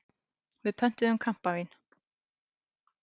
Við pöntuðum kampavín.